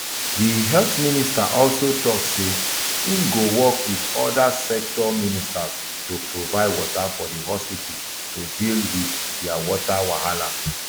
di health minister also tok say im go work wit oda sector ministers to provide water for di hospital to deal wit dia water wahala